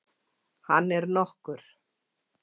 Hann er nokkur.